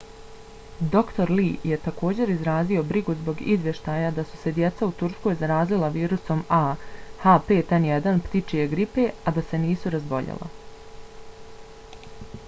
dr. lee je također izrazio brigu zbog izvještaja da su se djeca u turskoj zarazila virusom a h5n1 ptičije gripe a da se nisu razboljela